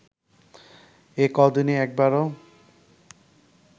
এ ক’দিনে একবারও